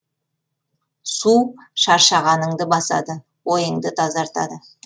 су шаршағаныңды басады ойыңды тазартады